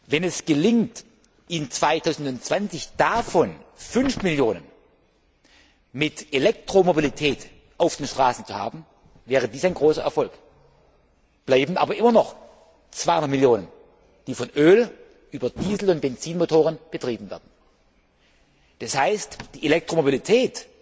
Wenn es gelingt, 2020 davon fünf Millionen mit Elektromobilität auf den Straßen zu haben, wäre dies ein großer Erfolg. Bleiben aber immer noch 200 Millionen, die mit Öl über Diesel und Benzinmotoren betrieben werden. Das heißt, die Elektromobilität